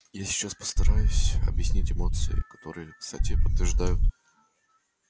я сейчас постараюсь объяснить эмоции джеймса твера которые кстати подтверждают что у него духовное образование